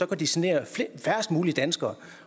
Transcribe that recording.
kan genere færrest mulige danskere